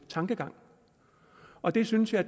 tankegang og det synes jeg